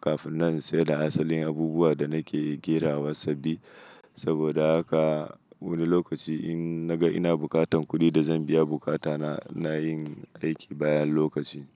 kafin na saida asalin abubuwa da nake kerawa sabbi. Saboda haka wani lokaci in naga ina bukatan kuɗi da zan biya bukata na, ina yin aiki bayan lokaci.